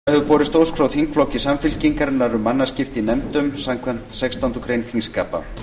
forseta hefur borist ósk frá þingflokki samfylkingarinnar um mannaskipti í nefndum samkvæmt sextándu grein þingskapa